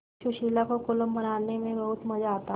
सुशीला को कोलम बनाने में बहुत मज़ा आता